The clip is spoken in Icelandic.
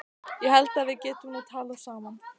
Ég held að við getum nú talað saman!